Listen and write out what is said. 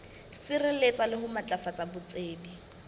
sireletsa le ho matlafatsa botsebi